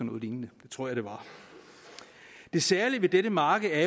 noget lignende det tror jeg det var det særlige ved dette marked er